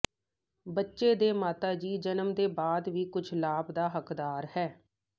ਬੱਚੇ ਦੇ ਮਾਤਾ ਦੀ ਜਨਮ ਦੇ ਬਾਅਦ ਵੀ ਕੁਝ ਲਾਭ ਦਾ ਹੱਕਦਾਰ ਹੈ